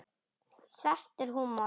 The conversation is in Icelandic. Svartur húmor.